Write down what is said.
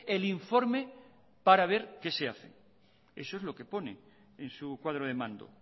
el informe para ver qué se hace eso es lo que pone en su cuadro de mando